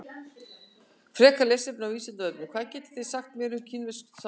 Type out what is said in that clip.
Frekara lesefni á Vísindavefnum: Hvað getið þið sagt mér um kínverskt samfélag?